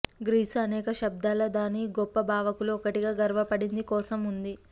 Greece అనేక శతాబ్దాల దాని గొప్ప భావకులు ఒకటిగా గర్వపడింది కోసం ఉంది